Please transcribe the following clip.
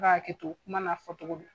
Ka haketo kuma n'a fɔ cogo don.